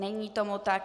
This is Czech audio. Není tomu tak.